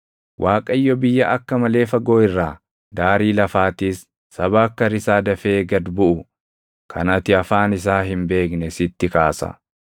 Waaqayyo biyya akka malee fagoo irraa, daarii lafaatiis saba akka risaa dafee gad buʼu kan ati afaan isaa hin beekne sitti kaasa;